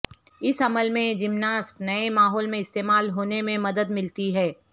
اس عمل میں جمناسٹ نئے ماحول میں استعمال ہونے میں مدد ملتی ہے